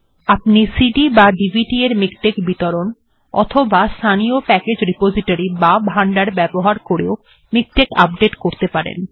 আপনি cdডিভিডি এর মিকটেক্ বিতরণ অথবা কোনো স্থানীয় প্যাকেজ্ রিপোজিটরি বা ভান্ডার ব্যবহার করেও মিকটেক্ আপডেট্ করতে পারেন